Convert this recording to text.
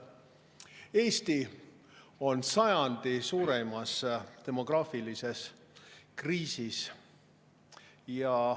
Eesti on sajandi suurimas demograafilises kriisis.